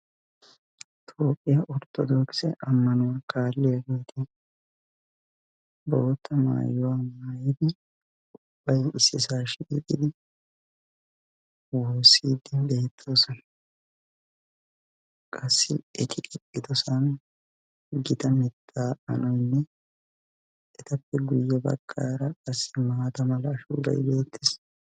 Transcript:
toophiya ortodoxe ammanuwa kaaliya assati issippe shiiqi wossidi beettosona ettappe guyessara maatta meray de"iyo mittati beettosona.